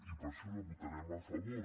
i per això hi votarem a favor